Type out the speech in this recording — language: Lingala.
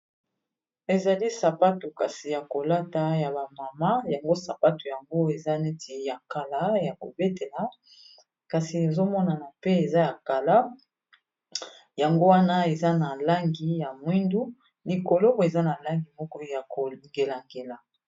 Ezali sapato kasi ya kolata ya ba mama yango sapato yango eza neti ya kala ya kobetela kasi ezomonana mpe eza ya kala yango wana eza na langi ya mwindu likolo eza na langi moko ya ko ngela ngela.